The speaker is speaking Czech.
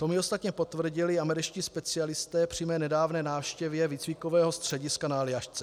To mi ostatně potvrdili američtí specialisté při mé nedávné návštěvě výcvikového střediska na Aljašce.